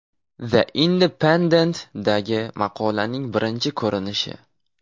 The Independent’dagi maqolaning birinchi ko‘rinishi.